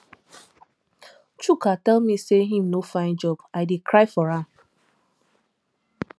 chuka tell me say he no find job i dey cry for am